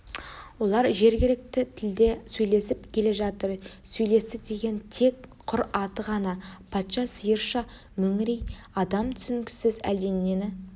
олар жергілікті тілде сөйлесіп келе жатыр сөйлесті деген тек құр аты ғана патша сиырша мөңірей адам түсінгісіз әлденені